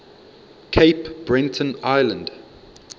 cape breton island